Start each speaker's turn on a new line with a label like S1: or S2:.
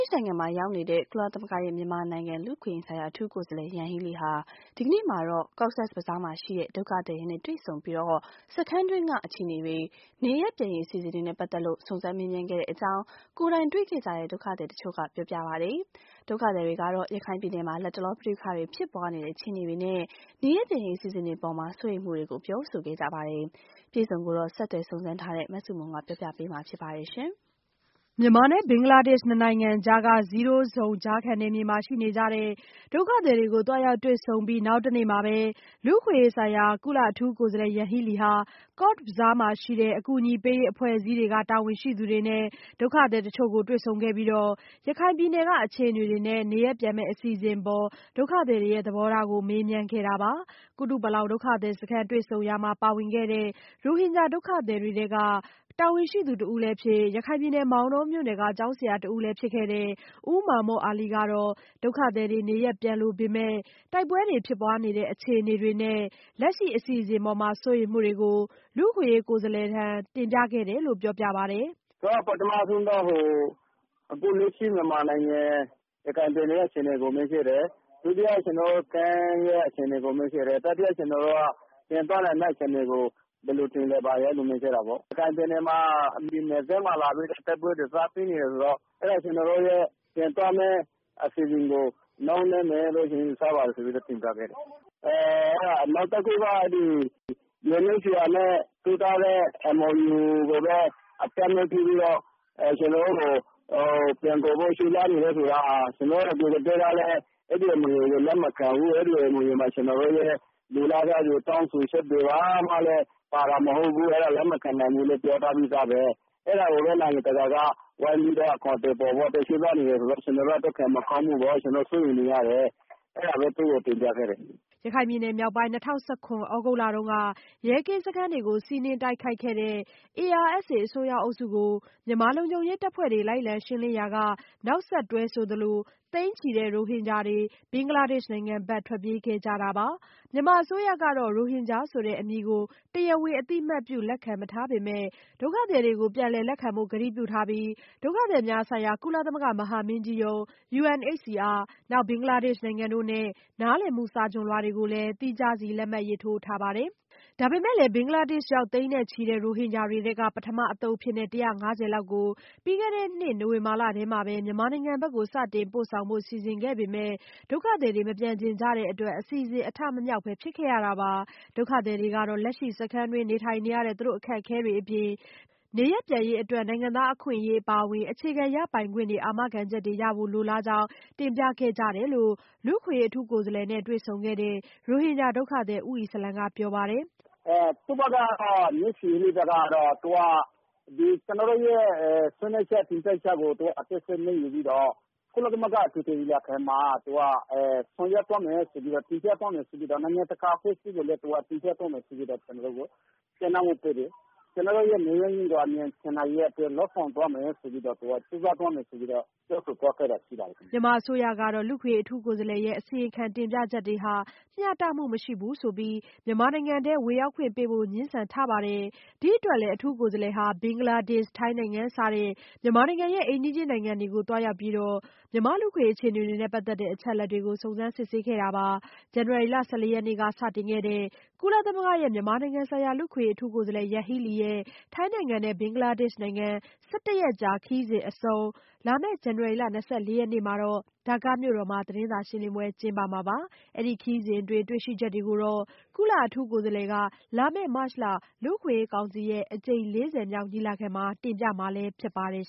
S1: ်နိုင်ငံမှာ ရောက်နေတဲ့ ကုလသမဂ္ဂရဲ့ မြန်မာနိုင်ငံ လူ့အခွင့်အရေးဆိုင်ရာ အထူးကိုယ်စားလှယ် Yanghee Lee ဟာ ဒီနေ့မှာတော့ Cox’s Bazar မှာရှိတဲ့ ဒုက္ခသည်တွေနဲ့ တွေ့ဆုံပြီး စခန်းတွင်းက အခြေအနေတွေ၊ နေရပ်ပြန်ရေး အစီအစဉ်တွေနဲ့ ပတ်သက်လို့ စုံစမ်းမေးမြန်းခဲ့ကြောင်း ကိုယ်တိုင်တွေ့ခဲ့ကြတဲ့ ဒုက္ခသည်တချို့က ပြောပါတယ်။ ဒုက္ခသည်တွေကတော့ ရခိုင်ပြည်နယ်မှာ လတ်တလော ပဋိပက္ခတွေ ဖြစ်ပွားနေတဲ့ အခြေအနေတွေနဲ့ နေရပ်ပြန်ရေး အစီအစဉ်အပေါ် စိုးရိမ်မှုတွေကို ပြောဆိုခဲ့ကြတာပါ။ အပြည့်အစုံကိုတော့ ဆက်သွယ်စုံစမ်းထားတဲ့ မဆုမွန်က ပြောပြပေးမှာ ဖြစ်ပါတယ်။
S2: မြန်မာနဲ့ ဘင်္ဂလားဒေ့ရှ် ၂ နိုင်ငံကြားက Zero Zone ကြားခံနယ်မြေမှာ ရှိနေကြတဲ့ ဒုက္ခသည်တွေကို သွားရောက် တွေ့ဆုံပြီး နောက်တနေ့မှာပဲ လူ့အခွင့်အရေးဆိုင်ရာ အထူးကိုယ်စားလှယ် Yanghee Lee ဟာ Cox’s Bazar မှာရှိတဲ့ အကူအညီပေးရေး အဖွဲ့အစည်းတွေက တာဝန်ရှိသူတွေနဲ့ ဒုက္ခသည်တချို့ကို တွေ့ဆုံခဲ့ပြီး ရခိုင်ပြည်နယ်က အခြေအနေတွေနဲ့ နေရပ်ပြန်မယ့် အစီအစဉ်အပေါ် ဒုက္ခသည်တွေရဲ့ သဘောထားတွေကို မေးမြန်းခဲ့တာပါ။ ကုတူပလောင်ဒုက္ခသည်စခန်းမှာ တွေ့ဆုံရာမှာ ပါဝင်ခဲ့တဲ့ ရိုဟင်ဂျာ ဒုက္ခသည်တွေထဲက တာဝန်ရှိသူ တဦးလည်းဖြစ်၊ ရခိုင်ပြည်နယ် မောင်တောမြို့နယ်က ကျောင်းဆရာ တဦးလည်းဖြစ်တဲ့ ဦးမာမွတ်အာလီကတော့ ဒုက္ခသည်တွေ နေရပ်ပြန်လိုပေမဲ့ တိုက်ပွဲတွေ ဖြစ်ပွားနေတဲ့ အခြေအနေတွေနဲ့ လက်ရှိအစီအစဉ်အပေါ် စိုးရိမ်မှုတွေကို လူ့အခွင့်အရေး ကိုယ်စားလှယ်ထံ တင်ပြခဲ့တယ်လို့ ပြောပါတယ်။
S3: "ပထမဆုံးတော့ အခုလက်ရှိ မြန်မာနိုင်ငံ ရခိုင်ပြည်နယ်ရဲ့အခြေအနေကို မေးခဲ့တယ် ၊ ဒုတိယကတော့ ကျနော်တို့ အခြေအနေကို မေးခဲ့တယ်။ တတိယက ပြန်သွားနိုင်မယ့်အခြေအနေကို ဘယ်လိုထင်သလဲဆိုတာ မေးခဲ့တာပေါ့။ ရခိုင်ပြည်နယ်မှာ နယ်စပ်မှာ တိုက်ပွဲတွေ စပြီးဖြစ်နေတယ်ဆိုတော့ အဲဒါ ပြန်သွားမယ့် ကျနော်တို့အစီအစဉ်ကို နှောင်းလိမ့်မယ်လို့ ယူဆပါတယ်ဆိုပြီးတင်ပြခဲ့တယ်။ နောက်တခုကတော့ UNHCR နဲ့ ထိုးထားတဲ့ MOU နဲ့ ကျနော်တို့ကို ပြန်ခေါ်ဖို့ ကြိုးစားနေတယ်ဆိုတာလည်း ကျနော်တို့ အဲဒီအမြင်ကိုလည်း လက်မခံဘူး ကျနော်တို့ လိုလားချက်တွေ ၊ တောင်းဆိုချက်တွေ အားလုံးကလည်း ပါတာမဟုတ်ဘူး အဲဒီတော့ လက်မခံနိုင်ဘူးလို့ပြောထားပြီးသားပဲ အဲဒါကို ကျနော်တို့ ဝိုင်းပြီးတော့ အကောင်အထည်ဖော်ဖို့ ကြိုးစားနေတယ်ဆိုတာ ကျနော်တို့အတွက် မကောင်းဘူး ကျနော်တို့အတွက် စိုးရိမ်ရတယ်ဆိုတာကို သူ့ကို တင်ပြခဲ့ပါတယ်။"
S2: ရခိုင်ပြည်နယ်မြောက်ပိုင်းမှာ ၂၀၁၇ သြဂုတ်လတုန်းက ရဲကင်းစခန်းတွေကို စီးနင်းတိုက်ခိုက်ခဲ့တဲ့ ARSA အစွန်းရောက်အုပ်စုကို မြန်မာလုံခြုံရေး တပ်ဖွဲ့တွေ လိုက်လံရှင်းလင်းရာက နောက်ဆက်တွဲ ဆိုသလို သိန်းနဲ့ချီတဲ့ ရိုဟင်ဂျာတွေ ဘင်္ဂလားဒေ့ရှ်နိုင်ငံဘက် ထွက်ပြေးခဲ့ကြတာပါ။ မြန်မာအစိုးရကတော့ ရိုဟင်ဂျာဆိုတဲ့ အမည်ကို တရားဝင်အသိအမှတ်ပြု လက်ခံမထားပေမဲ့ ဒုက္ခသည်တွေကို ပြန်လည် လက်ခံဖို့ ကတိပြုထားပြီး၊ ဒုက္ခသည်များဆိုင်ရာ ကုလသမဂ္ဂ မဟာမင်းကြီးရုံး နောက်ဘင်္ဂလားဒေ့ရှ်နိုင်ငံတို့နဲ့ နားလည်မှု စာချွန်လွှာတွေကိုလည်း သီးခြားစီ လက်မှတ်ရေးထိုးထားပါတယ်။ ဒါပေမဲ့လည်း ဘင်္ဂလားဒေ့ရှ်ရောက် သိန်းနဲ့ချီတဲ့ ရိုဟင်ဂျာတွေထဲက ပထမအသုတ်အဖြစ် ၁၅၀ လောက်ကို ပြီးခဲ့တဲ့နှစ် နိုဝင်ဘာလထဲမှာပဲ မြန်မာနိုင်ငံဘက် စတင်ပို့ဆောင်ဖို့ စီစဉ်ခဲ့ပေမဲ့ ဒုက္ခသည်တွေ မပြန်ချင်ကြတဲ့အတွက် အစီအစဉ် အထမမြောက်ပဲ ဖြစ်ခဲ့ရတာပါ။ ဒုက္ခသည်တွေကတော့ လက်ရှိ စခန်းတွင်းမှာ နေထိုင်နေရတဲ့ အခက်အခဲတွေအပြင်၊ နေရပ်ပြန်ရေးအတွက် နိုင်ငံသားအခွင့်အရေး အပါအဝင် အခြေခံရပိုင်ခွင့်တွေ အာမခံချက်ရဖို့ လိုလားကြောင်း တင်ပြခဲ့ကြတယ်လို့လည်း လူ့အခွင့်အရေး အထူးကိုယ်စားလှယ်နဲ့ တွေ့ဆုံခဲ့တဲ့ ရိုဟင်ဂျာ ဒုက္ခသည် ဦးအီစလံ က ပြောပါတယ်။
S3: "သူ့ဘက်ကတော့ ကျနော်တို့ရဲ့ ဆွေးနွေးချက် တင်ပြချက်တွေကို ယူပြီးတော့ ကုလသမဂ္ဂအထွေထွေညီလာခံမှာ တင်ပြသွားမယ်ဆိုပြီးတော့ ၊ နိုင်ငံတကာ အဖွဲ့အစည်းကိုလည်း တင်ပြသွားမယ်ဆိုပြီးတော့ ကျနော်တို့ကို ပြောတယ်။ ကျနော်တို့ နေရပ်အမြန်ပြန်နိုင်ရေးအတွက် လုပ်ဆောင်သွားမယ်၊ ကြိုးစားသွားမယ်ဆိုပြီးတော့ ပြောဆိုသွားတာရှိပါတယ်ခင
S2: ်ဗျ။" မြန်မာအစိုးရကတော့ လူ့အခွင့်အရေး အထူးကိုယ်စားလှယ်ရဲ့ အစီရင်ခံ တင်ပြချက်တွေဟာ မျှတမှုမရှိဘူးဆိုပြီး မြန်မာနိုင်ငံ ဝင်ရောက်ခွင့်ပေးဖို့ ငြင်းဆန်ထားပါတယ်။ ဒီအတွက်လည်း အထူးကိုယ်စားလှယ်ဟာ ဘင်္ဂလားဒေ့ရှ်၊ ထိုင်းနိုင်ငံ စတဲ့ မြန်မာနိုင်ငံရဲ့ အိမ်နီးချင်း နိုင်ငံတွေကို သွားရောက်ပြီး လူ့အခွင့်အရေး အခြေအနေတွေနဲ့ ပတ်သက်တဲ့ အချက်အလက်တွေကို စုံစမ်းစစ်ဆေးနေတာပါ။ ဇန်နဝါရီလ ၁၄ရက်နေ့က စတင်ခဲ့တဲ့ ကုလသမဂ္ဂရဲ့ မြန်မာဆိုင်ရာ လူ့အခွင့်အရေး အထူးကိုယ်စားလှယ် ယန်ဟီးလီရဲ့ ထိုင်းနိုင်ငံနဲ့ ဘင်္ဂလားဒေရှ့် နိုင်ငံ ၁၁ ရက်ကြာ ခရီးစဉ်အဆုံး ဇန်နဝါရီလ ၂၄ ရက်နေ့မှာတော့ ဒါကာ မြို့တော်မှာ သတင်းစာ ရှင်းလင်းပွဲ ကျင်းပမှာပါ။ အခု ခရီးစဉ်အတွင်း တွေ့ရှိချက်တွေကိုတော့ ကုလ အထူးကိုယ်စားလှယ်က လာမယ့် မတ်လ လူ့အခွင့်အရေး ကောင်စီရဲ့ အကြိမ် ၄၀ မြောက် ညီလာခံမှာ တင်ပြမှာ ဖြစ်ပါတယ်